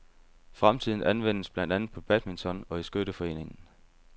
Fritiden anvendes blandt andet på badminton og i skytteforeningen.